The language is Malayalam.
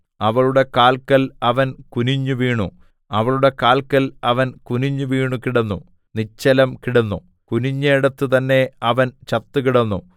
അവളുടെ കാൽക്കൽ അവൻ കുനിഞ്ഞുവീണു അവളുടെ കാൽക്കൽ അവൻ കുനിഞ്ഞുവീണു കിടന്നു നിശ്ചലം കിടന്നു കുനിഞ്ഞേടത്ത് തന്നേ അവൻ ചത്തുകിടന്നു